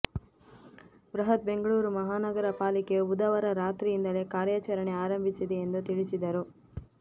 ಬೃಹತ್ ಬೆಂಗಳೂರು ಮಹಾನಗರ ಪಾಲಿಕೆಯು ಬುಧವಾರ ರಾತ್ರಿಯಿಂದಲೇ ಕಾರ್ಯಾಚರಣೆ ಆರಂಭಿಸಿದೆ ಎಂದು ತಿಳಿಸಿದರು